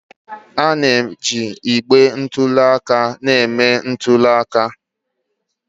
A na-eji igbe ntụli aka eme ntuli aka.